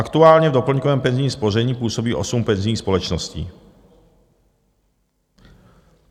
Aktuálně v doplňkovém penzijním spoření působí osm penzijních společností."